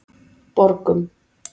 Borgum